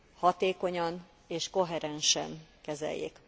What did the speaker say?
hatékonyan és koherensen kezeljék.